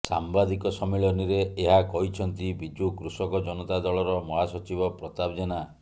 ସାମ୍ବାଦିକ ସମ୍ମିଳନୀରେ ଏହା କହିଛନ୍ତି ବିଜୁ କୃଷକ ଜନତା ଦଳର ମହାସଚିବ ପ୍ରତାପ ଜେନା